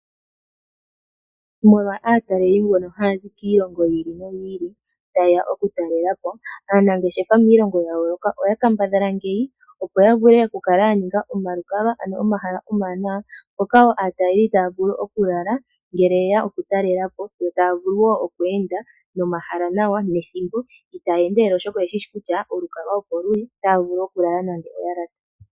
Molwa aatalelipo mbono haya zi kiilongo yi ili noyi ili taye ya okutalela po, aanangeshefa miilongo ya yooloka oya kambadhala ngeyi, opo ya vule okukala ya ninga omalukalwa, omahala omawanawa mpoka wo aatalelipo taya vulu okulala ngele ye ya okutalela po yo taya vulu wo oku enda nomahala nawa nethimbo itaya endelele, oshoka oye shi shi kutya olukalwa opo luli otaya vulu okulala.